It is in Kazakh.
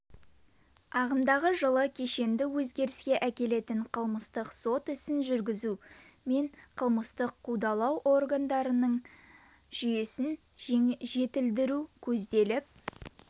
ағымдағы жылы кешенді өзгеріске әкелетін қылмыстық сот ісін жүргізу мен қылмыстық қудалау органдарының жүйесін жетілдіру көзделіп